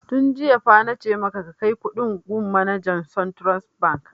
Tun jiya fa na ce maka ka kai kuɗin gun manajan suntrust bank!